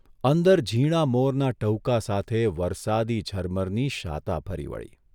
અંદર ઝીણા મોરના ટહુકા સાથે વરસાદી ઝરમરની શાતા ફરી વળી.